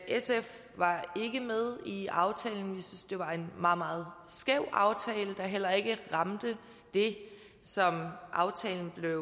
sf var ikke med i aftalen vi synes det var en meget meget skæv aftale der heller ikke ramte det som aftalen blev